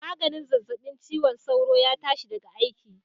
Maganin zazzabin ciwon sauron ya tashi daga aiki